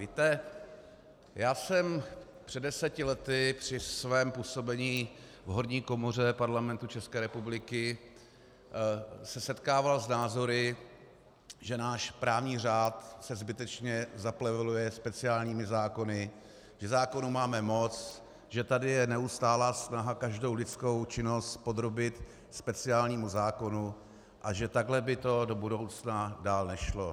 Víte, já jsem před deseti lety při svém působení v horní komoře Parlamentu České republiky se setkával s názory, že náš právní řád se zbytečně zapleveluje speciálními zákony, že zákonů máme moc, že tady je neustálá snaha každou lidskou činnost podrobit speciálnímu zákonu a že takto by to do budoucna dál nešlo.